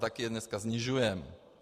Taky je dneska snižujeme.